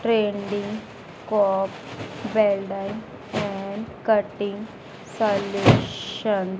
trending cop welder and cutting solution --